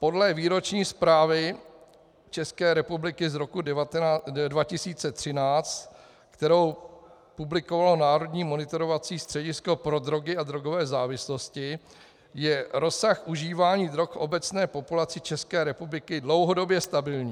Podle výroční zprávy České republiky z roku 2013, kterou publikovalo Národní monitorovací středisko pro drogy a drogové závislosti, je rozsah užívání drog obecné populace České republiky dlouhodobě stabilní.